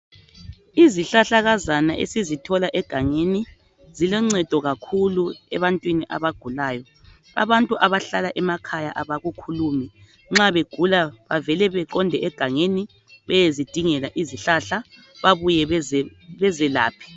izihlahlakazana esizithola egangeni ziloncedo kakhulu ebantwini abagulayo abantu abahlala emakaya abakhulumi nxa begula bavele baqonde egangeni beyezidingela izihlahla bebuye bezelaphe